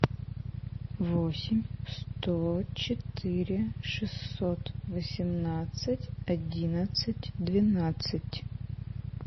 восемь сто четыре шестьсот восемнадцать одиннадцать двенадцать